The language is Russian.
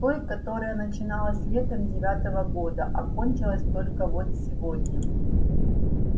с той которая начаналось летом девятого года а кончилась только вот сегодня